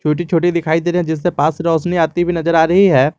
छोटी छोटी दिखाई दे रही हैं जिससे पास से रोशनी आती भी नजर आ रही है।